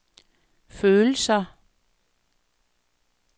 følelser